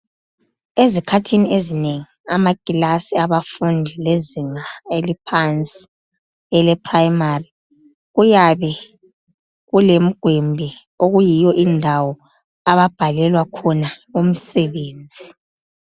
Ezikhathini ezinengi amakilasi abafundi lezinga eliphansi ele primary kuyabe lemgwembe okuyiyo indawo ababhalela khona umsebenzi.